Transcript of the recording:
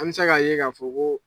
An bɛ se k'a ye k'a fɔ ko